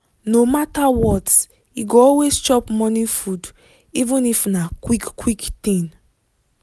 no matter what e go always chop morning food even if if na quick quick thing.